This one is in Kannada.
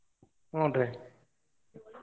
ಹೂನ್ರೀ.